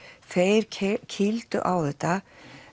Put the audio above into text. þeir kýldu á þetta